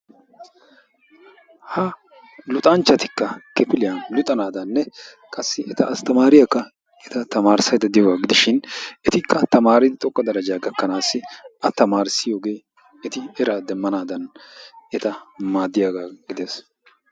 Ha luxanchchatikka kifiliyan luxanadanne qassi eta astamariyaakka eta tamarissaydda diyooga gidishin etikka tamaridi xoqqa daraja gakanassi a tamassiyooge eti era demmanadan eta maaddiyaaga gidees.